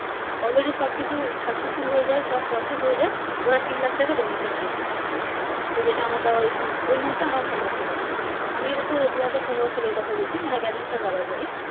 Already সব কিছু Successful হয়ে যায় সব Process হয়ে যায় ওরা তিন লাখ টাকা Donation ছেয়ে ছিলো তো যেটা আমার দেওয়ার ওই সময় ওই মুহূর্তে সম্ভব ছিলো না আমি এটা তোর দু হাজার পনেরো সোলার এর কথা বলছি মানে Graduation দেওয়ার পরে